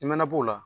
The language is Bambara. I mana b'o la